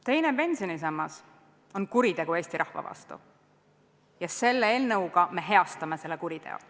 Teine pensionisammas on kuritegu Eesti rahva vastu ja selle eelnõuga me heastame selle kuriteo.